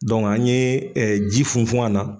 an ye ɛɛ ji funfun an na